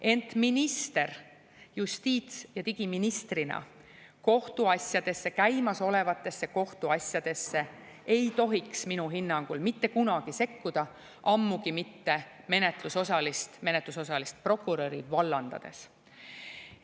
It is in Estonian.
Ent minister, justiits‑ ja digiminister käimasolevatesse kohtuasjadesse ei tohiks minu hinnangul mitte kunagi sekkuda, ammugi mitte menetlusosalist prokuröri vallandades.